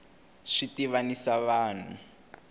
swi tivanisa vanhu